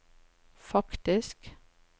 faktisk